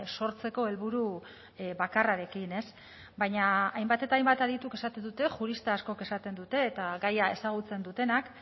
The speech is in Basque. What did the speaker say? sortzeko helburu bakarrarekin ez baina hainbat eta hainbat adituk esaten dute jurista askok esaten dute eta gaia ezagutzen dutenak